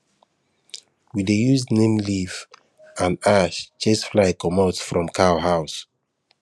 we dey use neem leaf and ash chase fly comot from cow house